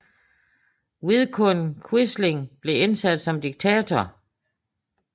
Vidkun Quisling blev indsat som diktator